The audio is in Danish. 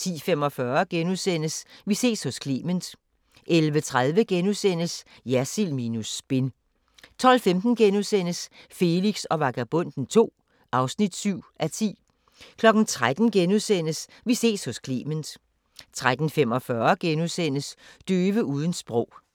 10:45: Vi ses hos Clement * 11:30: Jersild minus spin * 12:15: Felix og Vagabonden II (7:10)* 13:00: Vi ses hos Clement * 13:45: Døve uden sprog *